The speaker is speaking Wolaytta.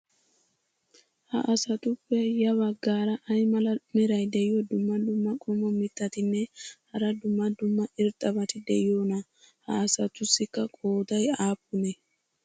ha asatuppe ya bagaara ay mala meray diyo dumma dumma qommo mitattinne hara dumma dumma irxxabati de'iyoonaa? ha asatussikka qooday aappunee?